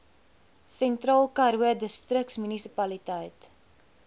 sentraalkaroo distriksmunisipaliteit